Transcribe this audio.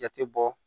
Jate bɔ